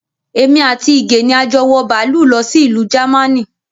Èmi àti Ige ni a jọ wọ bàálù lọ sí ìlú Jámánì